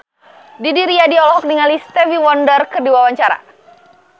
Didi Riyadi olohok ningali Stevie Wonder keur diwawancara